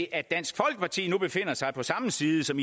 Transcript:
at dansk folkeparti nu befinder sig på samme side som